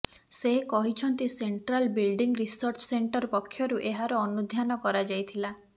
ସେ କହିଛନ୍ତି central building research centre ପକ୍ଷରୁ ଏହାର ଅନୁଧ୍ୟାନ କରାଯାଇଥିଲା